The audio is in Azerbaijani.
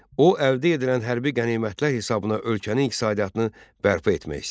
O, əldə edilən hərbi qənimətlər hesabına ölkənin iqtisadiyyatını bərpa etmək istəyirdi.